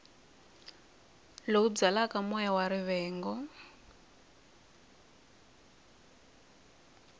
lowu byalaka moya wa rivengo